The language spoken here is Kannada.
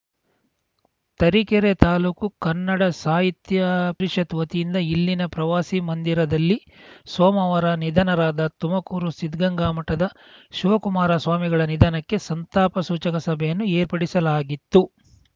ತರೀಕೆರೆ ತಾಲೂಕು ಕನ್ನಡ ಸಾಹಿತ್ಯ ಪರಿಷತ್ತು ವತಿಯಿಂದ ಇಲ್ಲಿನ ಪ್ರವಾಸಿ ಮಂದಿರದಲ್ಲಿ ಸೋಮವಾರ ನಿಧನರಾದ ತುಮಕೂರು ಸಿದ್ಧಗಂಗಾ ಮಠದ ಶಿವಕುಮಾರ ಸ್ವಾಮಿಗಳ ನಿಧನಕ್ಕೆ ಸಂತಾಪ ಸೂಚಕ ಸಭೆಯನ್ನು ಏರ್ಪಡಿಸಲಾಗಿತ್ತು